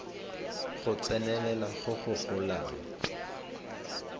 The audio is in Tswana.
go tsenelela go go golang